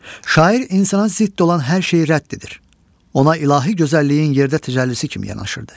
Şair insana zidd olan hər şeyi rədd edir, ona ilahi gözəlliyin yerdə təcəllisi kimi yanaşırdı.